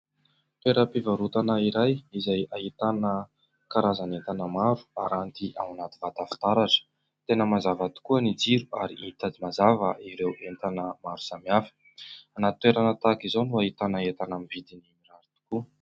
Toeram-pivarotana iray izay ahitana karazan'entana maro aranty ao anaty vata fitaratra. Tena mazava tokoa ny jiro ary hita mazava ireo entana maro samihafa. Anaty toerana tahaka izao no ahitana entana amin'ny vidiny mirary tokoa.